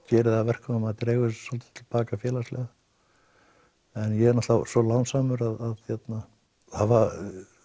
gerir það að verkum að maður dregur svolítið til baka félagslega en ég er svo lánsamur að hafa